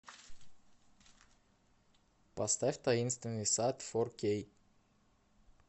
поставь таинственный сад фор кей